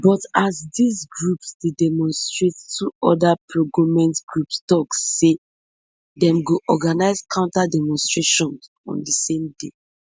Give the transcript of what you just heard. but as dis groups dey demonstrate two oda progoment groups tok say dem go organize counter demonstration on di same day